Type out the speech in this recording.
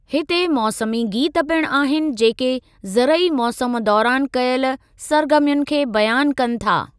हिते मौसमी गीत पिणु आहिनि जेकी ज़रई मौसम दौरानि कयल सर्गर्मियुनि खे बयानु कनि था।